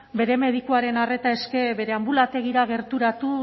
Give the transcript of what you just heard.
bere medikuaren arreta eske anbulategira gerturatu